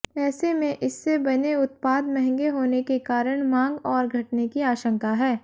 ऐसे में इससे बने उत्पाद महंगे होने के कारण मांग और घटने की आशंका है